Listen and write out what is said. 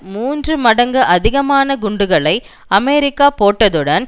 மூன்று மடங்கு அதிகமான குண்டுகளை அமெரிக்கா போட்டதுடன்